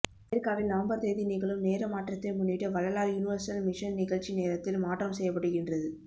அமெரிக்காவில் நவம்பர் தேதி நிகழும் நேர மாற்றத்தை முன்னிட்டுவள்ளலார் யுனிவேர்சல் மிஷன் நிகழ்ச்சி நேரத்தில் மாற்றம் செய்யப்படுகின்றது